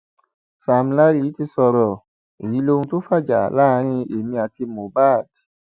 sam larry ti sọrọ èyí lóhun tó fàjà láàrin èmi àti mohbad